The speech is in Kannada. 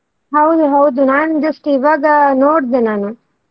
ಹೌದು ಹೌದು ನಾನು just ಇವಾಗ ನೋಡ್ದೆ ನಾನು.